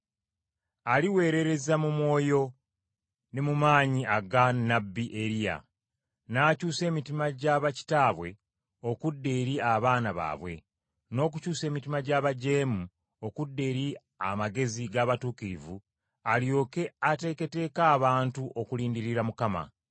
Aliweerereza mu mwoyo ne mu maanyi aga nnabbi Eriya, n’akyusa emitima gy’aba kitaabwe okudda eri abaana baabwe, n’okukyusa emitima gy’abajeemu okudda eri amagezi g’abatuukirivu alyoke ateeketeeke abantu okulindirira Mukama.”